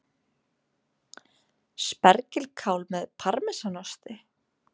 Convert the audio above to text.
Spergilkál með parmesanosti